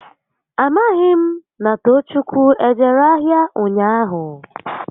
A maghị m na Toochukwu ejere ahịa ụnyaahụ